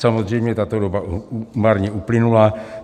Samozřejmě tato doba marně uplynula.